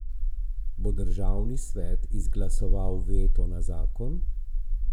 Bo državni svet izglasoval veto na zakon?